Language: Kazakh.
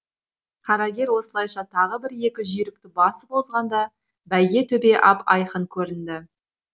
қарагер осылайша тағы бір екі жүйрікті басып озғанда бәйгетөбе ап айқын көрінді